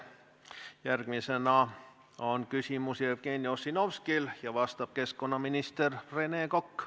Järgmisena on küsimus Jevgeni Ossinovskil ja vastab keskkonnaminister Rene Kokk.